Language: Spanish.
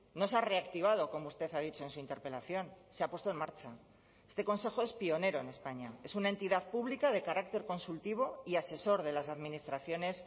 no se ha reactivado como usted ha dicho en su interpelación se ha puesto en marcha este consejo es pionero en españa es una entidad pública de carácter consultivo y asesor de las administraciones